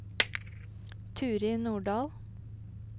Turid Nordal